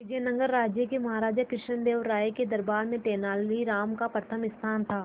विजयनगर राज्य के महाराजा कृष्णदेव राय के दरबार में तेनालीराम का प्रथम स्थान था